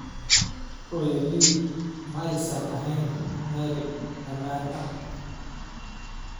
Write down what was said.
"Hooyadii ma aysan ahayn meel ammaan ah."